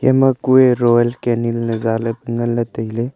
ema kue royal canin ley zaley ngan ley tailey.